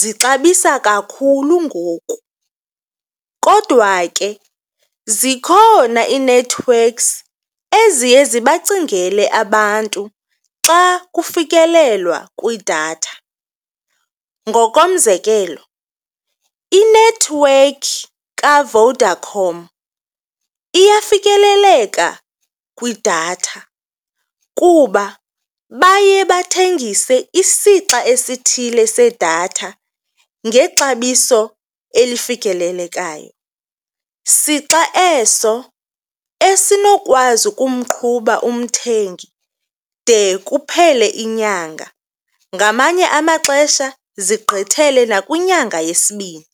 zixabisa kakhulu ngoku. Kodwa ke, zikhona ii-networks eziye zibacingele abantu xa kufikelelwa kwidatha. Ngokomzekelo, inethiwekhi kaVodacom iyafikeleleka kwidatha kuba baye bathengise isixa esithile sedatha ngexabiso elifikelelekayo. Sixa eso esinokwazi ukumqhuba umthengi de kuphele inyanga, ngamanye amaxesha zigqithele nakwinyanga yesibini.